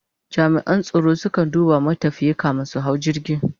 jami'an tsaro su kan duba matafiyi kamin su hau jirgi